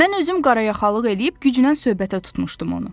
Mən özüm qarayaxalıq eləyib gücnən söhbətə tutmuşdum onu.